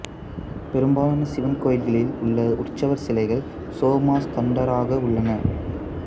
பெரும்பாலான சிவன் கோயில்களில் உள்ள உற்சவர் சிலைகள் சோமாஸ்கந்தாராக உள்ளன